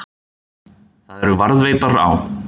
Þær eru varðveittar á